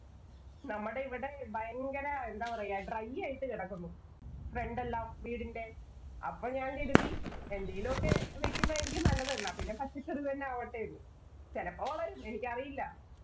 നമ്മടെ ഇവിടെ ഭയങ്കര എന്താ പറയ dry ആയിട്ട് കിടക്കുന്നു. front എല്ലാം വീടിന്‍റെ. അപ്പം ഞാന്‍ കരുതി എന്തേലും ഒക്കെ വയ്ക്കുന്നെ ആയിരിക്കും നല്ലതെന്ന്. എന്നാ പിന്നെ പച്ചക്കറി തന്നെ ആവട്ടെ എന്ന്. ചെലപ്പോ വളരും. എനിക്കറിയില്ല.